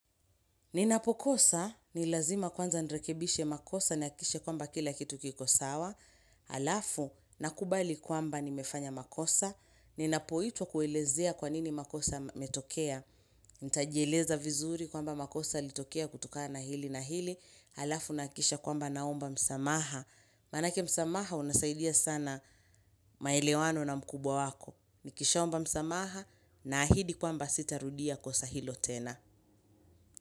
Ninapokosa, ni lazima kwanza nirekebishe makosa nihakikishe kwamba kila kitu kiko sawa, halafu nakubali kwamba nimefanya makosa, ninapoitwa kuelezea kwanini makosa yametokea, nitajieleza vizuri kwamba makosa yalitokea kutokana na hili na hili, halafu nahakikisha kwamba naomba msamaha. Manake msamaha unasaidia sana maelewano na mkubwa wako. Nikishaomba msamaha naahidi kwamba sitarudia kosa hilo tena.